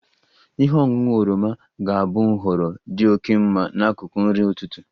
Ihe ọṅụṅụ oroma ga-abụ nhọrọ dị oke mma n'akụkụ nri ụtụtụ